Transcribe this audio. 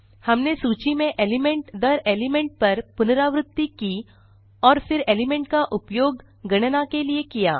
हमने सूची में element दर element पर पुनरावृति की और फिर एलिमेंट का उपयोग गणना के लिए किया